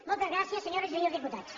moltes gràcies senyores i senyors diputats